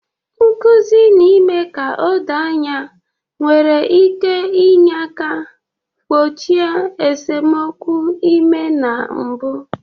Nkuzi na ime ka o doo anya nwere ike inye aka gbochie esemokwu ime na mbu